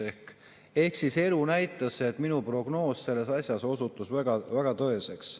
Ehk siis elu näitas, et minu prognoos selles asjas osutus väga tõeseks.